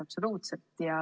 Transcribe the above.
Absoluutselt!